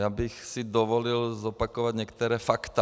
Já bych si dovolil zopakovat některá fakta.